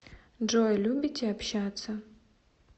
джой любите общаться